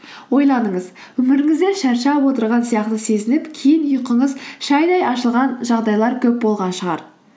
ойланыңыз өміріңізде шаршап отырған сияқты сезініп кейін ұйқыңыз шайдай ашылған жағдайлар көп болған шығар